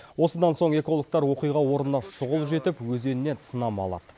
осыдан соң экологтар оқиға орнына шұғыл жетіп өзеннен сынама алады